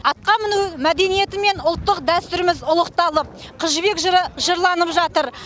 атқа міну мәдениеті мен ұлттық дәстүріміз ұлықталып қыз жібек жыры жырланып жатыр